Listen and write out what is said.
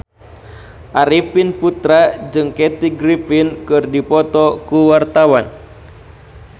Arifin Putra jeung Kathy Griffin keur dipoto ku wartawan